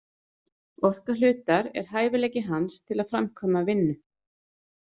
Orka hlutar er hæfileiki hans til að framkvæma vinnu.